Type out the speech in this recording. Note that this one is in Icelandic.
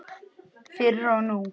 Fyrr og nú.